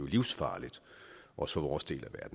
livsfarligt også for vores del af